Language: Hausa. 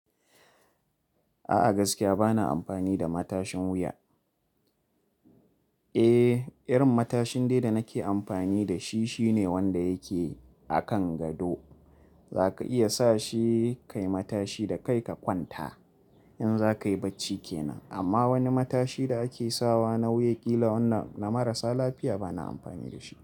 A'a gaskiya bana amfani da matashin wuya. Eh, irin matashin dai da nake amfani da shi shine wanda yake akan gado. Zaka iya sa shi kai matashi da kai ka kwanta in za ka yi bacci kenan. Amma wani matashi da ake sawa na wuya ƙila wannan na marasa lafiya bana amfani da shi.